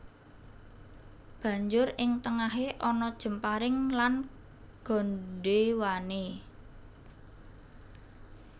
Banjur ing tengahé ana jemparing lan gandhéwané